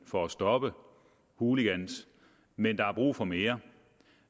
for at stoppe hooligans men der er brug for mere